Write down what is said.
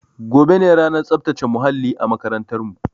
Gobe ne ranar tsaftace muhalli a makarantar mu